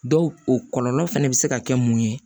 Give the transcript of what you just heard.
Dɔw o kɔlɔlɔ fɛnɛ bɛ se ka kɛ mun ye